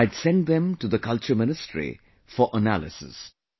I had sent them to the Culture Ministry for analysis